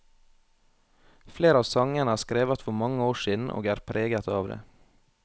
Flere av sangene er skrevet for mange år siden, og er preget av det.